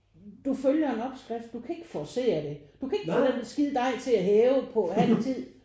Du følger en opskrift. Du kan ikke forcere det. Du kan ikke få den skide dej til at hæve på halv tid